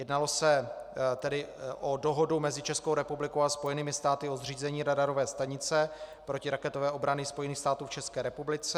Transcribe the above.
Jednalo se tedy o Dohodu mezi Českou republikou a Spojenými státy o zřízení radarové stanice protiraketové obrany Spojených států v České republice.